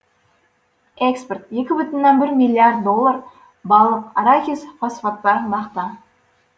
экспорт екі бүтін оннан бір миллиард доллар балық арахис фосфаттар мақта